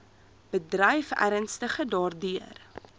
bedryf ernstig daardeur